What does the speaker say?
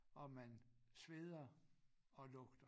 Og man sveder og lugter